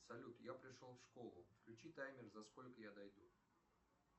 салют я пришел в школу включи таймер за сколько я дойду